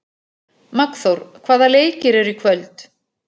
Magnþór, hvaða leikir eru í kvöld?